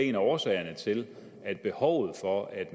en af årsagerne til at behovet for at